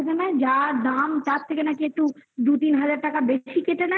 যার দাম তার থেকে নাকি একটু দু তিন হাজার টাকা বেশি কেটে নেয়